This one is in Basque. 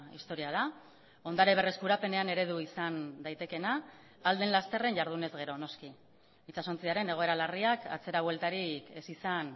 historia da ondare berreskurapenean eredu izan daitekeena ahal den lasterren jardunez gero noski itsasontziaren egoera larriak atzera bueltarik ez izan